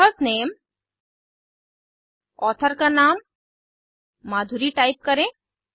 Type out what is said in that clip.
authors name author का नाम Madhuri type करें